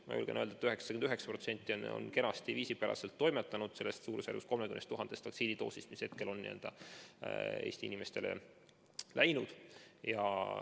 Ma julgen öelda, et 99%-ga nendest suurusjärgus 3000 vaktsiinidoosist, mis seni on Eesti inimestele süsitud, on kenasti ja viisipäraselt toimetatud.